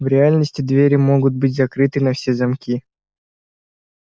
в реальности двери могут быть закрыты на все замки